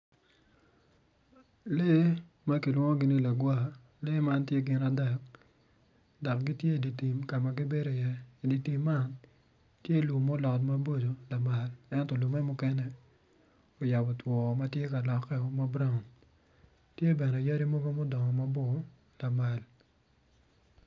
Lee ma kilwongo ni lagwar gitye gin adek dok gitye i dye tim ka ma gibedo iye dok i dye tim man tye lum ma olot maboco ento lum man oyabo two ma mukene tye ma braun.